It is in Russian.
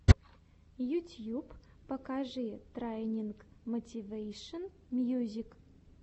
ютьюб покажи трайнинг мотивэйшен мьюзик